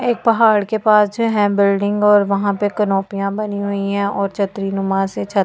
एक पहाड़ के पास जो है बिल्डिंग और वहां पे कनोपिया बनी हुई है और छतरी नुमा से छतें बनी हुई।